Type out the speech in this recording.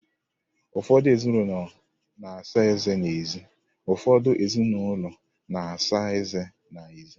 Ụfọdụ ezinụlọ na-asa eze ha n'ezi.